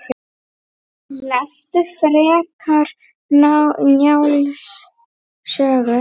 Lestu frekar Njáls sögu